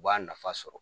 U b'a nafa sɔrɔ